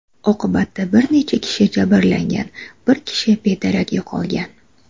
Oqibatda bir necha kishi jabrlangan, bir kishi bedarak yo‘qolgan.